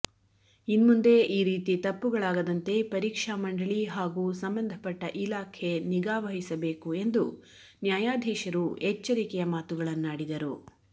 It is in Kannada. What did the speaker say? ಇನ್ಮುಂದೆ ಈ ರೀತಿ ತಪ್ಪುಗಳಾಗದಂತೆ ಪರೀಕ್ಷಾ ಮಂಡಳಿ ಹಾಗೂ ಸಂಬಂಧಪಟ್ಟ ಇಲಾಖೆ ನಿಗಾ ವಹಿಸಬೇಕು ಎಂದು ನ್ಯಾಯಾಧೀಶರು ಎಚ್ಚರಿಕೆಯ ಮಾತುಗಳನ್ನಾಡಿದರು